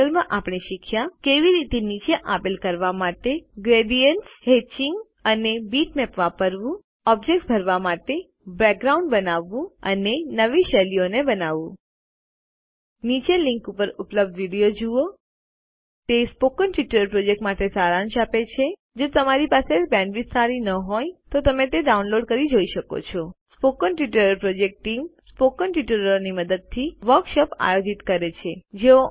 આ ટ્યુટોરીયલમાં આપણે શીખ્યા કે કેવી રીતે નીચે આપેલ કરવા માટે રંગ ગરેડીયેન્ત્સ હેત્ચિંગ અને બીટમેપ વાપરવું ઓબ્જેક્ત્સ ભરવા માટે બેકગ્રાઉન્ડ બનાવવું અને નવી શૈલીઓ બનાવવું નીચેની લીંક ઉપર ઉપલબ્ધ વિડીયો જુઓ httpspoken tutorialorgWhat is a Spoken Tutorial તે સ્પોકન ટ્યુટોરીયલ પ્રોજેક્ટ માટે સારાંશ આપે છે જો તમારી પાસે બેન્ડવિડ્થ સારી ન હોય તો તમે તે ડાઉનલોડ કરીને જોઈ શકો છો spoken tutorial project team spoken ટ્યુટોરીયલોની મદદથી વર્કશોપો આયોજિત કરે છે